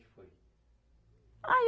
Que foi? Aí